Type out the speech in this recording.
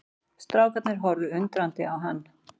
Strákarnir horfðu undrandi á hann.